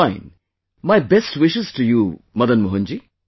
Fine, my best wishes to you Madan Mohan ji